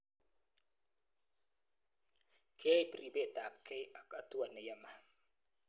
Keib ribetabgei ak hatua ne yamei.